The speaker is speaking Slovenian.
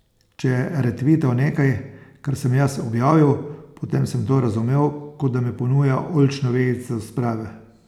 Če je retvital nekaj, kar sem jaz objavil, potem sem to razumel, kot da mi ponuja oljčno vejico sprave.